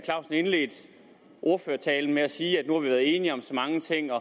clausen indledte ordførertalen med at sige at nu været enige om så mange ting og